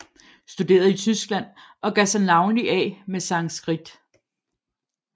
Studerede i Tyskland og gav sig navnlig af med Sanskrit